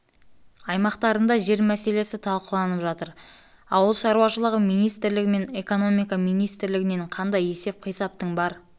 аймақтарында жер мәселесі талқыланып жатыр мен ауыл шаруашылығы министрлігі мен экономика министрілігінен қандай есеп-қисаптың бар